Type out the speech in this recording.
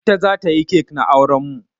Ita za ta yi cake na auren mu.